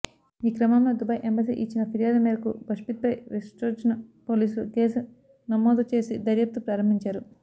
ఈక్రమంలో Dubai embassy ఇచ్చిన ఫిర్యాదు మేరకు బషీద్పై వెస్ట్జోన్ పోలీసులు కేసు నమోదు చేసి దర్యాప్తు ప్రారంభించారు